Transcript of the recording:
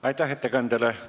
Aitäh ettekandjale!